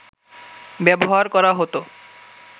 ব্যবহার করা হত